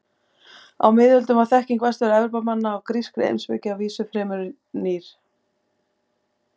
Á miðöldum var þekking Vestur-Evrópumanna á grískri heimspeki að vísu fremur rýr.